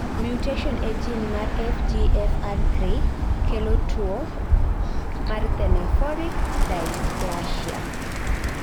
mutation ee gene mar FGFR3 kelo tuo mar thanaphoric dysplasia